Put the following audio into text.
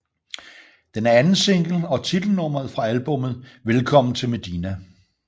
Den er andensingle og titelnummeret fra albummet Velkommen Til Medina